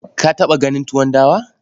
Ka taɓa ganin tuwon dawa?